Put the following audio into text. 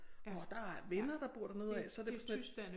Og der er venner der bor dernede ad så det var tysk